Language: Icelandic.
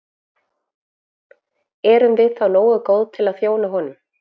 Erum við þá nógu góð til að þjóna honum?